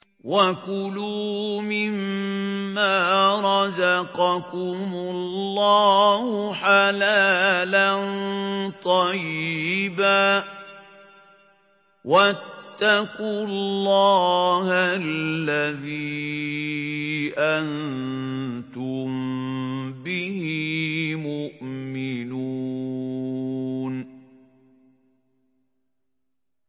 وَكُلُوا مِمَّا رَزَقَكُمُ اللَّهُ حَلَالًا طَيِّبًا ۚ وَاتَّقُوا اللَّهَ الَّذِي أَنتُم بِهِ مُؤْمِنُونَ